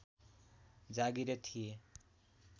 जागीरे थिए